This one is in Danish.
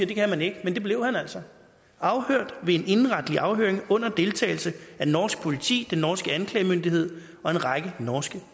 det kan man ikke men det blev han altså ved en indenretlig afhøring under deltagelse af norsk politi den norske anklagemyndighed og en række norske